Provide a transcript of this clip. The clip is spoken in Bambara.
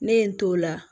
Ne ye n t'o la